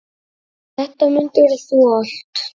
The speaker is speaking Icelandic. Þetta mundir þú allt.